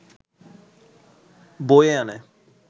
বয়ে আনে